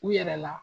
U yɛrɛ la